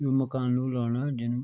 यु मकाणु राणा जन।